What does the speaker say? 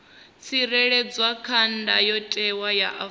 tsireledzwa kha ndayotewa ya afrika